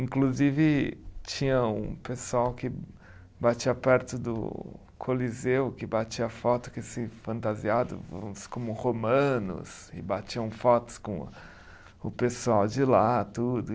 Inclusive, tinha um pessoal que batia perto do Coliseu, que batia foto com esse fantasiado, uns como romanos, e batiam fotos com o pessoal de lá, tudo.